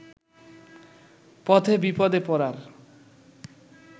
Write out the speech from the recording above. পথে বিপদে পড়ার